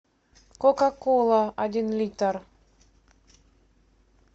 кока кола один литр